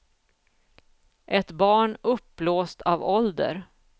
Ett barn uppblåst av ålder.